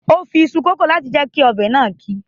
O fi iṣu kòkó láti fi jẹ kí ọbẹ̀ náà ki.